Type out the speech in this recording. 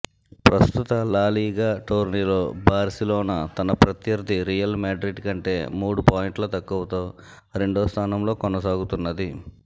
ప్రస్తుత లాలీగ టోర్నీలో బార్సిలోనా తన ప్రత్యర్థి రియల్ మాడ్రిడ్ కంటే మూడు పాయింట్లు తక్కువతో రెండోస్థానంలో కొనసాగుతున్నది